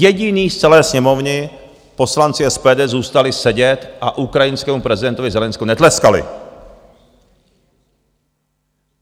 Jediní z celé Sněmovny poslanci SPD zůstali sedět a ukrajinskému prezidentovi Zelenskému netleskali.